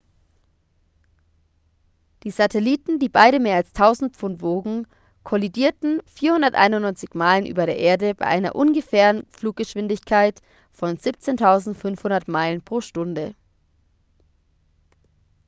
die satelliten die beide mehr als 1.000 pfund wogen kollidierten 491 meilen über der erde bei einer ungefähren fluggeschwindigkeit von 17.500 meilen pro stunde